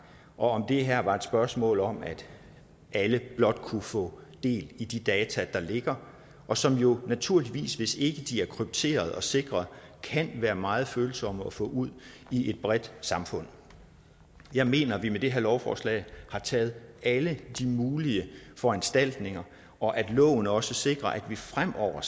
og om at det her var et spørgsmål om at alle blot kunne få del i de data der ligger og som jo naturligvis hvis ikke de er krypterede og sikrede kan være meget følsomme at få ud i det brede samfund jeg mener at vi med det her lovforslag har taget alle de mulige foranstaltninger og at loven også sikrer at vi fremover